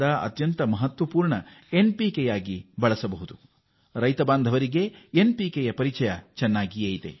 ಪೌಷ್ಟಿಕಯುಕ್ತವಾದ nitrogen ಸಾರಜನಕ phosphorus ರಂಜಕ ಮತ್ತು ಪೊಟಾಷಯಂ ಸ್ಪಟಿಕೀಯ ಲವಣ ಒಳಗೊಂಡಿರುತ್ತದೆ